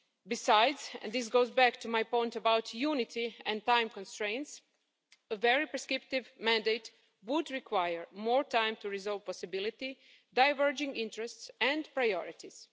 Besides and this goes back to my point about unity and time constraints a very prescriptive mandate would require more time to resolve possibility, diverging interests and priorities.